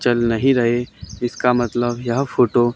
चल नहीं रहे इसका मतलब यह फोटो --